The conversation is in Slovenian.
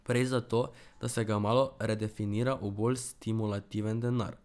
Prej za to, da se ga malo redefinira v bolj stimulativen denar.